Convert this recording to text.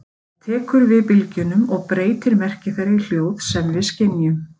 Það tekur við bylgjunum og breytir merki þeirra í hljóð sem við skynjum.